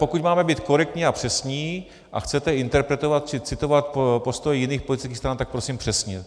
Pokud máme být korektní a přesní a chcete interpretovat či citovat postoje jiných politických stran, tak prosím přesně.